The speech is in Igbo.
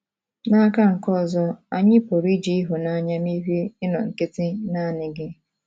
N’aka nke ọzọ, anyị pụrụ iji ịhụnanya merie ịnọ nkịtị naanị gị.